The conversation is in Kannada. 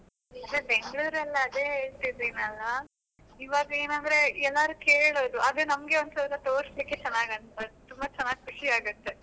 ಇಲ್ಲಿ ಬೆಂಗಳೂರಲ್ಲಿ ಅದೇ ಹೇಳ್ತಿದ್ದೇನೆ ಅಲ್ಲ, ಇವಾಗ ಏನಂದ್ರೆ ಎಲ್ಲರು ಕೇಳುದು ಅದು ನಮಗೆ ಒಂದ್ಸಲ ತೋರಿಸ್ಲಿಕ್ಕೆ ಚೆನ್ನಾಗಿ ಆಗುತ್ತೆ ಅದು ತುಂಬ ಚೆನ್ನಾಗಿ ಖುಷಿ ಆಗುತ್ತೆ.